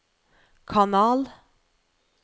kanal